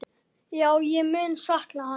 Já, ég mun sakna hans.